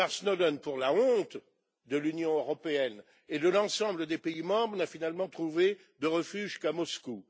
Edward Snowden, pour la honte de l'Union européenne et de l'ensemble des pays membres, n'a finalement trouvé refuge qu'à Moscou.